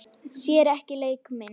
Sér ekki leik minn.